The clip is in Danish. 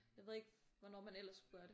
Jeg ved ikke hvornår man ellers skulle gøre det